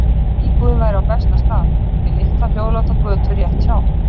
Íbúðin væri á besta stað, við litla hljóðláta götu rétt hjá